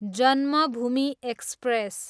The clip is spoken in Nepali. जन्मभूमि एक्सप्रेस